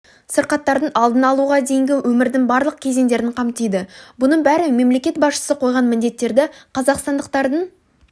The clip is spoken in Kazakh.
сырқаттардың алдын алуға дейінгі өмірдің барлық кезеңдерін қамтиды бұның бәрі мемлекет басшысы қойған міндеттерді қазақстандықтардың